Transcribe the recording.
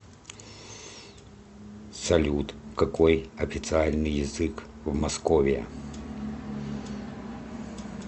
салют какой официальный язык в московия